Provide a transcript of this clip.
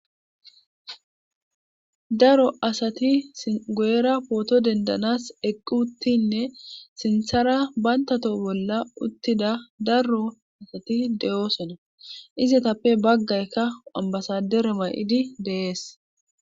daro asati singuera pooto dendanas eqqu uttinne sinthara bantato bolla uttida daro asati de7oosona izatappe baggaykka wambasadere ma7idi deees